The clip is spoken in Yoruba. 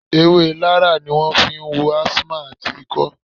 Ewé Larra ni wọn fi ń wo asthma àti ikọ́